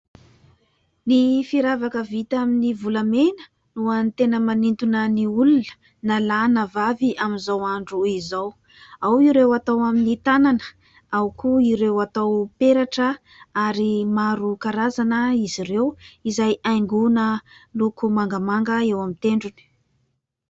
Ny firavaka vita amin'ny volamena no any tena manintona ny olona na lahy na vavy amin'izao andro izao, ao ireo atao amin'ny tanana, ao koa ireo atao peratra ary maro karazana izy ireo izay haingoana loko mangamanga eo amin'ny tendrony.